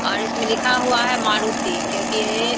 और इसमें लिखा हुआ है मारुति क्योंकि ये --